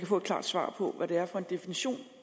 få et klart svar på hvad det er for en definition